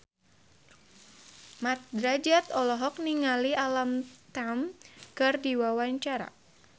Mat Drajat olohok ningali Alam Tam keur diwawancara